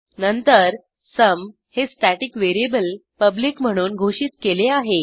नंतर सुम हे static variable public म्हणून घोषित केले आहे